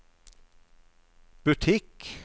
butikk